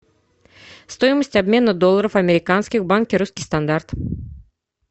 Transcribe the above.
стоимость обмена долларов американских в банке русский стандарт